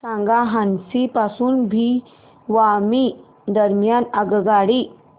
सांगा हान्सी पासून भिवानी दरम्यान आगगाडी